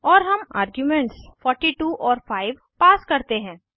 और हम आर्ग्यूमेंट्स 42 और 5 पास करते हैं